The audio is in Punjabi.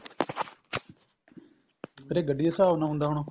ਫ਼ੇਰ ਇਹ ਗੱਡੀ ਦੇ ਹਿਸਾਬ ਨਾਲ ਹੁੰਦਾ ਹੋਣਾ